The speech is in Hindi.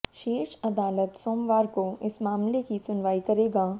शीर्ष अदालत सोमवार को इस मामले की सुनवाई करेगा